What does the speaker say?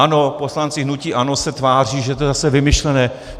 Ano, poslanci hnutí ANO se tváří, že to je zase vymyšlené.